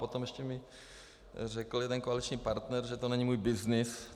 Potom ještě mi řekl jeden koaliční partner, že to není můj byznys.